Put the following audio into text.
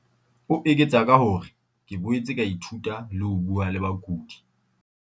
O eketsa ka hore, "ke boetse ka ithuta le ho bua le bakudi."